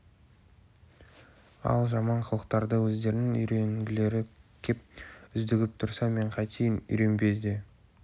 ал жаман қылықтарды өздерінің үйренгілері кеп үздігіп тұрса мен қайтейін үйренбе де